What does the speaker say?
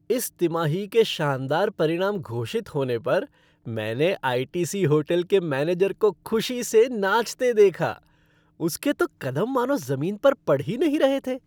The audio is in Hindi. इस तिमाही के शानदार परिणाम घोषित होने पर मैंने आई. टी. सी. होटल के मैनेजर को खुशी से नाचते देखा, उसके तो कदम मानो जमीन पर पड़ ही नहीं रहे थे।